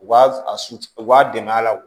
U b'a a susu u b'a dɛmɛ a la